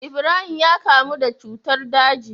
Ibrahim ya kamu da cutar daji